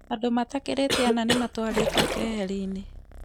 Andũ matakĩrĩte ana nĩ matwarĩtwo keheri-inĩ